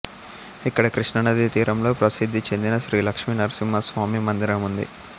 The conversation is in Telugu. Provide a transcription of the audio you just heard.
ఇక్కడ కృష్ణానదీ తీరంలో ప్రసిద్ధి చెందిన శ్రీలక్ష్మీనరసింహస్వామి మందిరం ఉంది